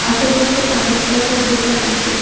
আশেপাশে অনেক কয়টা দোকান আছে।